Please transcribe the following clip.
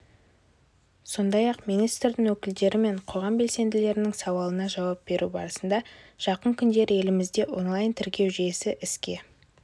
сондай-ақ министрдің өкілдері мен қоғам белсенділерінің сауалына жауап беру барысында жақын күндері елімізде онлайн-тіркеу жүйесі іске